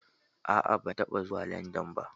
A'a, ban taba zuwa Landan ba